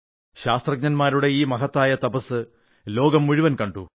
ശാസ്ത്രജ്ഞരുടെ ഈ മഹത്തായ തപസ്സ് ലോകം മുഴുവൻ കണ്ടു